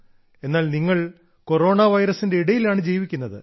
എന്നാൽ നിങ്ങൾ കൊറോണ വൈറസിന്റെ ഇടയിലാണ് ജീവിക്കുന്നത്